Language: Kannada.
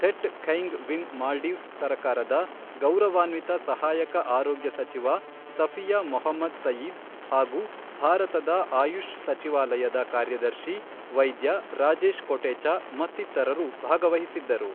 ಥೆಟ್ ಖೈಂಗ್ ವಿನ್ ಮಾಲ್ಡೀವ್ಸ್ ಸರಕಾರದ ಗೌರವಾನ್ವಿತ ಸಹಾಯಕ ಆರೋಗ್ಯ ಸಚಿವ ಸಫಿಯಾ ಮೊಹಮ್ಮದ್ ಸಯೀದ್ ಹಾಗೂ ಭಾರತದ ಆಯುಷ್ ಸಚಿವಾಲಯದ ಕಾರ್ಯದರ್ಶಿ ವೈದ್ಯ ರಾಜೇಶ್ ಕೊಟೆಚಾ ಮತ್ತಿತರರು ಭಾಗವಹಿಸಿದ್ದರು